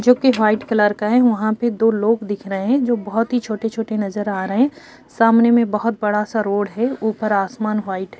जोकि white colour का है। वहां पे दो लोग दिख रहे हैं जो बोहोत ही छोटे-छोटे नज़र आ रहे हैं। सामने में बोहोत बड़ा सा रोड है ऊपर आसमान व्हाइट --